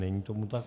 Není tomu tak.